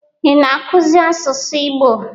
Ị na-akụzi asụsụ Igbo?